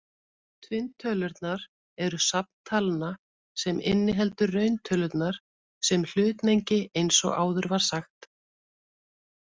Tvinntölurnar eru safn talna sem inniheldur rauntölurnar sem hlutmengi eins og áður var sagt.